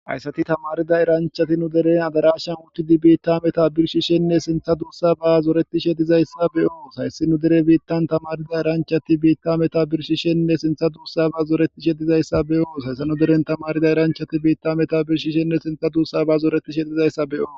hayssati tamarida iranchati nu deren adarashan wutidi biitta meta birshishenne sintha duussa ba zoretishe dizayssa beyos hayssi nu dere biittan tamarida iranchati biitta meta birshishenne sintha duussa ba zoretishe dizayssa beyoos hayssanu deren tamarida iranchati biitta meta birshishenne sintha duussa ba zooretishe dizayssa beo